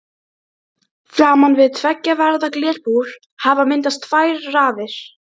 Framan við tveggja varða glerbúr hafa myndast tvær raðir.